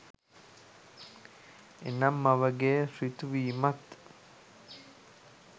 එනම් මවගේ ඍතු වීමත්